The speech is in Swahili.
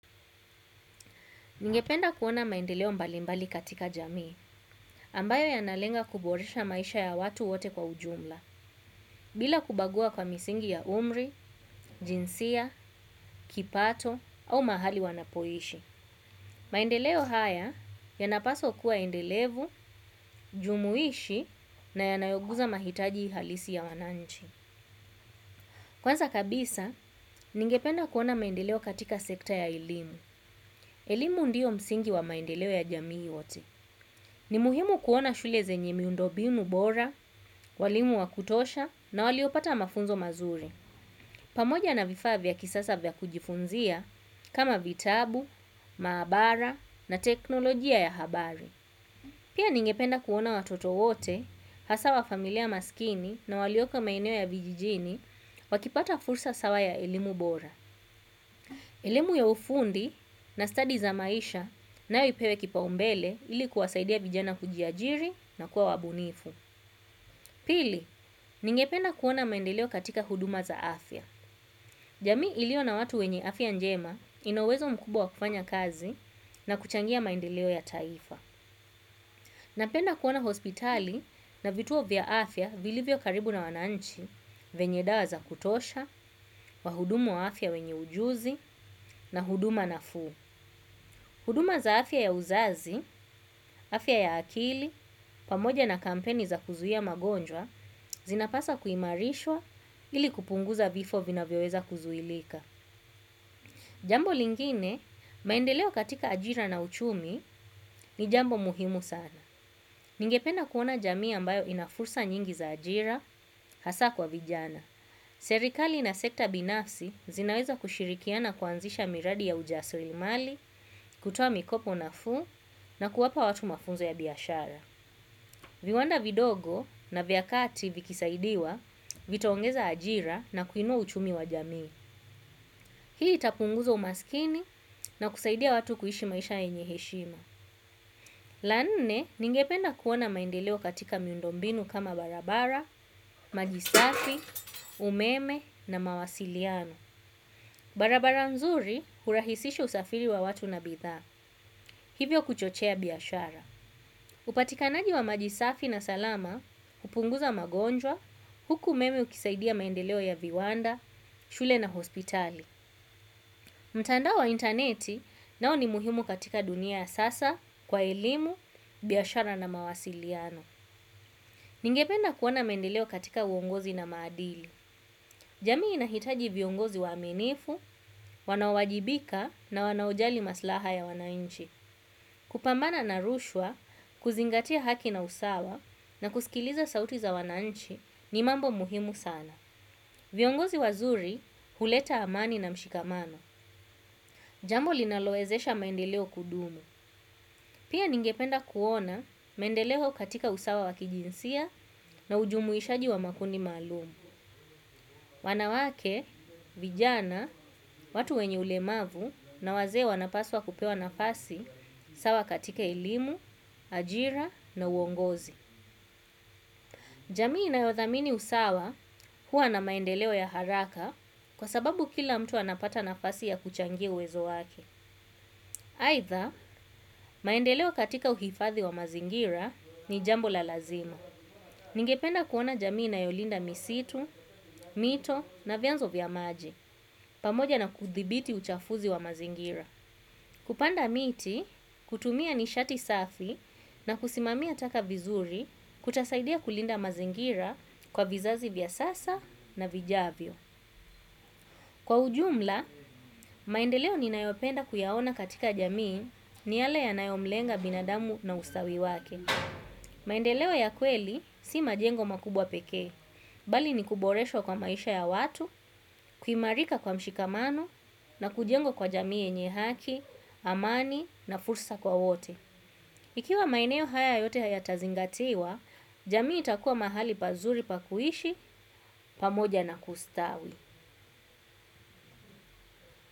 Ningependa kuona maendeleo mbalimbali katika jamii, ambayo yanalenga kuboresha maisha ya watu wote kwa ujumla, bila kubagua kwa misingi ya umri, jinsia, kipato, au mahali wanapoishi. Maendeleo haya yanapaswa kuwa endelevu, jumuishi na yanayoguza mahitaji halisi ya wananchi. Kwanza kabisa, ningependa kuona maendeleo katika sekta ya elimu. Elimu ndio msingi wa maendeleo ya jamii wote. Ni muhimu kuona shule zenye miundo binu bora, walimu wa kutosha na waliopata mafunzo mazuri. Pamoja na vifaa vya kisasa vya kujifunzia kama vitabu, maabara na teknolojia ya habari. Pia ningependa kuona watoto wote, hasaa wa familia maskini, na walioko maeneo ya vijijini, wakipata fursa sawa ya elimu bora. Elemi ya ufundi na stadi za maisha nayo ipewe kipaumbele ili kuwasaidia vijana kujiajiri na kuwa wabunifu. Pili, ningependa kuona maendeleo katika huduma za afya. Jamii ilio na watu wenye afya njema ina uwezo mkubwa wa kufanya kazi na kuchangia maendeleo ya taifa. Napenda kuona hospitali na vituo vya afya vilivyo karibu na wananchi venye dawa za kutosha, wahudumu wa afya wenye ujuzi na huduma nafuu. Huduma za afya ya uzazi, afya ya akili, pamoja na kampeni za kuzuhia magonjwa, zinapaswa kuimarishwa ili kupunguza vifo vinavyoweza kuzuhilika. Jambo lingine, maendeleo katika ajira na uchumi ni jambo muhimu sana. Ningependa kuona jamii ambayo ina fursa nyingi za ajira, hasa kwa vijana. Serikali ina sekta binafsi zinaweza kushirikiana kuanzisha miradi ya ujasirimali, kutoa mikopo nafuu na kuwapa watu mafunzo ya biashara. Viwanda vidogo na vya kati vikisaidiwa vitaongeza ajira na kuinua uchumi wa jamii. Hii itapunguza umaskini na kusaidia watu kuishi maisha yenye heshima. La nne, ningependa kuona maendeleo katika miundo mbinu kama barabara, maji sati, umeme na mawasiliano. Barabara nzuri hurahisisha usafiri wa watu na bidhaa. Hivyo kuchochea biashara. Upatikanaji wa maji safi na salama, upunguza magonjwa, huku umeme ukisaidia maendeleo ya viwanda, shule na hospitali. Mtandao wa intaneti nao ni muhimu katika dunia ya sasa, kwa elimu, biashara na mawasiliano. Ningependa kuona maendeleo katika uongozi na madili. Jamii inahitaji viongozi waminifu, wanaowajibika na wanaojali maslaha ya wanainchi. Kupambana na rushwa, kuzingatia haki na usawa na kusikiliza sauti za wananchi ni mambo muhimu sana. Viongozi wazuri huleta amani na mshikamano. Jambo linalowezesha maendeleo kudumu. Pia ningependa kuona maendeleo katika usawa wa kijinsia na ujumuishaji wa makundi maalum. Wanawake, vijana, watu wenye ulemavu na wazee wanapaswa kupewa nafasi sawa katika elimu, ajira na uongozi. Jamii inayodhamini usawa huwa na maendeleo ya haraka kwa sababu kila mtu anapata nafasi ya kuchangia uwezo wake. Aidha, maendeleo katika uhifadhi wa mazingira ni jambo la lazima. Ningependa kuona jamii inayolinda misitu, mito na vyanzo vya maji, pamoja na kudhibiti uchafuzi wa mazingira. Kupanda miti, kutumia nishati safi, na kusimamia taka vizuri kutasaidia kulinda mazingira kwa vizazi vya sasa na vijavyo. Kwa ujumla, maendeleo ninayopenda kuyaona katika jamii ni yale yanayomlenga binadamu na ustawi wake. Maendeleo ya kweli si majengo makubwa pekee. Bali ni kuboreshwa kwa maisha ya watu, kuimarika kwa mshikamano na kujengwa kwa jamii yenye haki, amani na fursa kwa wote. Ikiwa maeneo haya yote yatazingatiwa, jamii itakuwa mahali pazuri pa kuishi pamoja na kustawi.